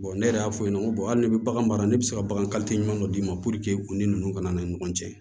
ne yɛrɛ y'a fɔ i ɲɛna ko hali ne bɛ bagan baara ne bɛ se ka bagan ɲuman dɔ d'i ma u ni ninnu kana ni ɲɔgɔn cɛ